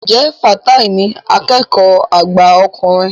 Ǹjẹ́ Fatai ní akẹ́kọ̀ọ́ àgbà ọkùnrin?